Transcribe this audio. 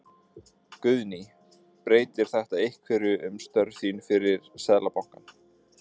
Guðný: Breytir þetta einhverju um störf þín fyrir Seðlabankann?